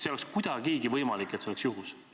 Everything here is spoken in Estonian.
Ei ole kuidagigi võimalik, et see oleks juhus.